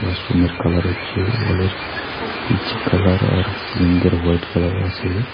ক্লাসরুমের কালার হচ্ছে ওয়ালের পীচ কালার আর সিলিংগের হোয়াইট কালার আছে।